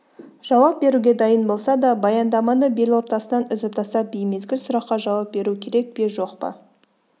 жауап беруге дайын болса да баяндаманы белортасынан үзіп тастап беймезгіл сұраққа жауап беру керек пе жоқ па